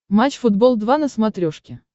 матч футбол два на смотрешке